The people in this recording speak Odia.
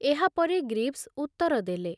ଏହାପରେ ଗ୍ରୀଭସ ଉତ୍ତର ଦେଲେ।